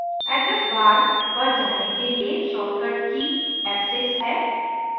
address bar पर जाने के लिए shortcut की f6 है